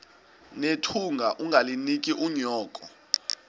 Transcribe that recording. nethunga ungalinik unyoko